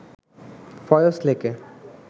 ফয়স লেকে